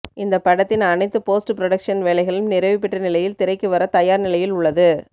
இந்தப்படத்தின் அனைத்து post production வேலைகளும் நிறைவுபெற்ற நிலையில் திரைக்கு வர தயார் நிலையில் உள்ளது